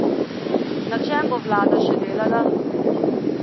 Na čem bo vlada še delala?